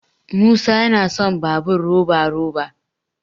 musa yana son babur roba- roba